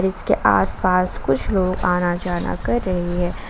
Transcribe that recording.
जिसके आसपास कुछ लोग आना जाना कर रहे हैं।